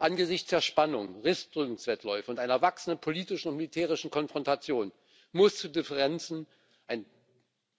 Angesichts der Spannungen, Rüstungswettläufe und einer wachsenden politischen und militärischen Konfrontation muss zu Differenzen ein